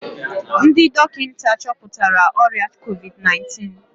Ndị dọkịta chọpụtara ọrịa COVID-19